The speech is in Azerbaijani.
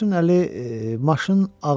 Qıvrımsaçın Əli maşın ağzına düşüb.